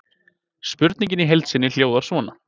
Spurningin í heild sinni hljóðaði svona: